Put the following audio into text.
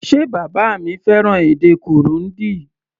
Ṣe bàbá mi fẹ́ràn èdè Kirundi?